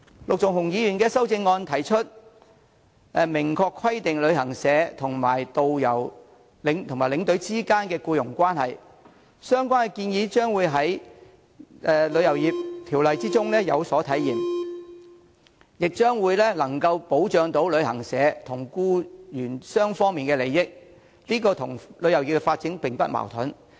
陸頌雄議員的修正案提出明確規定旅行社和導遊及領隊之間的僱傭關係，而相關建議將會在《旅遊業條例草案》中有所體現，亦將能保障旅行社和僱員雙方的利益，這與旅遊業的發展並無矛盾。